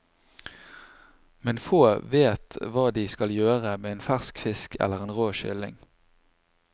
Men få vet hva de skal gjøre med en fersk fisk eller en rå kylling.